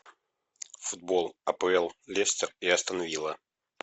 футбол апл лестер и астон вилла